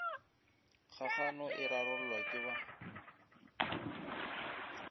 kgagano e rarollwa ke ba